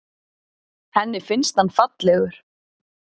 Henni finnst hann fallegur.